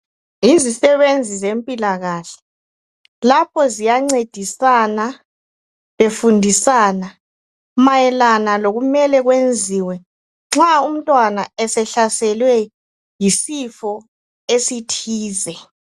Yizisebenzi zempilakahle lapho ziyancedisana befundisana mayelana lokumele kwenziwe nxa umntwana esehlaselwe yisifo esithize.